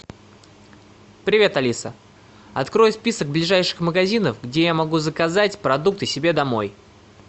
привет алиса открой список ближайших магазинов где я могу заказать продукты себе домой